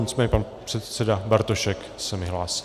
Nicméně pan předseda Bartošek se mi hlásí.